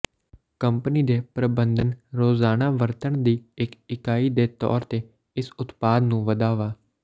company ਦੇ ਪ੍ਰਬੰਧਨ ਰੋਜ਼ਾਨਾ ਵਰਤਣ ਦੀ ਇੱਕ ਇਕਾਈ ਦੇ ਤੌਰ ਤੇ ਇਸ ਉਤਪਾਦ ਨੂੰ ਵਧਾਵਾ